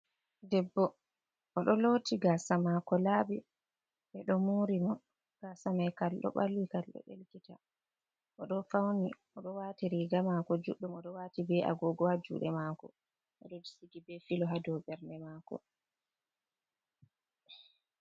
Debbo oɗo looti gasa mako laabi ɓeɗo morimo. Gasa mai kalɗo ɓalwi, kalɗo ɗelkita .Oɗo fauni oɗo waati riga mako judɗum, oɗo waati be agogowa juuɗe mako. Oɗo Sigi be filo ha dou ɓerde maako.